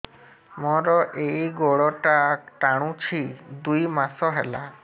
ମୋର ଏଇ ଗୋଡ଼ଟା ଟାଣୁଛି ଦୁଇ ମାସ ହେଲା